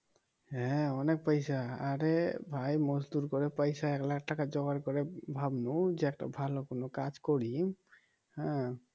হ্যাঁ অনেক পয়সা আরে ভাই মজদুর করে পয়সা একলাখ টাকা যোগাড় করে ভাবলুম যে একটা ভালো কোনো কাজ করি হ্যাঁ"